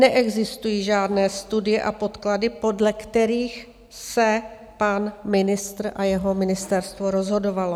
Neexistují žádné studie a podklady, podle kterých se pan ministr a jeho ministerstvo rozhodovali.